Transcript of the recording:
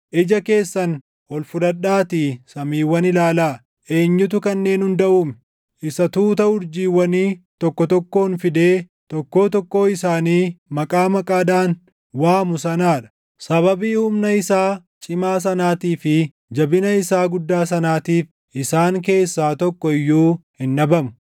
Ija keessan ol fudhadhaatii samiiwwan ilaalaa: Eenyutu kanneen hunda uume? Isa tuuta urjiiwwanii tokko tokkoon fidee tokkoo tokkoo isaanii maqaa maqaadhaan waamu sanaa dha. Sababii humna isaa cimaa sanaatii fi jabina isaa guddaa sanaatiif isaan keessaa tokko iyyuu hin dhabamu.